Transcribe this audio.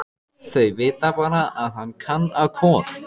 Þau vita bara að hann á Kol.